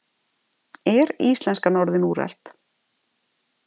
Er íslenskan orðin úrelt?